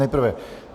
Nejprve -